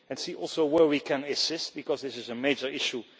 We must also see where we can assist, because this is a major